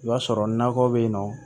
I b'a sɔrɔ nakɔ bɛ yen nɔ